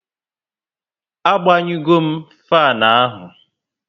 A gbanyu go m fanu ahụ